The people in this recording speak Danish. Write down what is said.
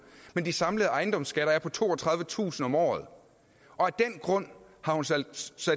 men de samlede ejendomsskatter er på toogtredivetusind kroner om året og af den grund har hun sat